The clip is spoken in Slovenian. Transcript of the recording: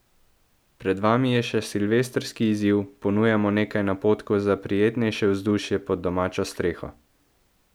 Pred vami je še silvestrski izziv, ponujamo nekaj napotkov za prijetnejše vzdušje pod domačo streho.